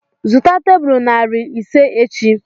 Zụta tebụl narị ise echi!